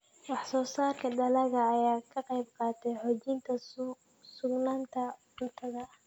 Wax-soo-saarka dalagga ayaa ka qaybqaata xoojinta sugnaanta cuntada.